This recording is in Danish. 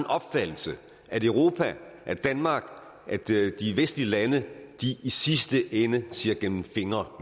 opfattelse at europa at danmark at de vestlige lande i sidste ende ser igennem fingre